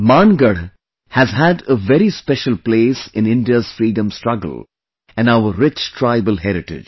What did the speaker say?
Mangarh has had a very special place in India's freedom struggle and our rich tribal heritage